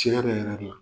Tiɲɛ yɛrɛ yɛrɛ la